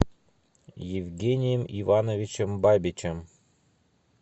евгением ивановичем бабичем